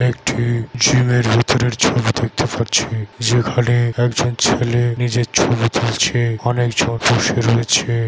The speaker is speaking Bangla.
একটি জিমের ভিতরের ছবি দেখতে পাচ্ছি। যেখানে একজন ছেলে নিজের ছবি তুলছে। অনেক জন বসে রয়েছে।